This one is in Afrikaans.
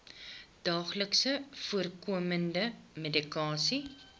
daagliks voorkomende medikasie